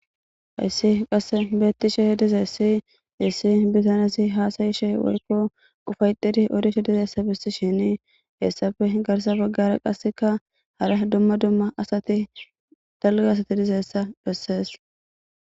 Hasi qase betishe dizaysa issi diza hasayishe woyko Ufayetidi odishe dizaysa besishen hesafe hinko ASA bagaranne qasekka hara dumma dumma asati dalga asati dizaysa besese